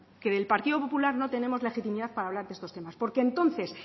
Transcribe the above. que del partido popular no tenemos legitimidad para hablar de estos temas porque entonces